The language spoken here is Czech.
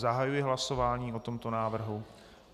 Zahajuji hlasování o tomto návrhu.